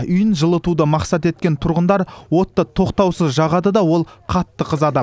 үйін жылытуды мақсат еткен тұрғындар отты тоқтаусыз жағады да ол қатты қызады